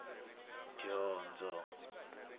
dyondzo